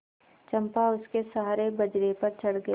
चंपा उसके सहारे बजरे पर चढ़ गई